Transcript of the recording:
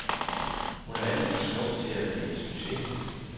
Hun er alt for smuk til at blive en succes.